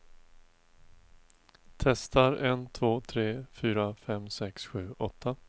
Testar en två tre fyra fem sex sju åtta.